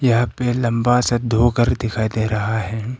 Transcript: यहां पे लंबा सा धोकर दिखाई दे रहा है।